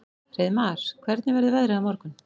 Hreiðmar, hvernig verður veðrið á morgun?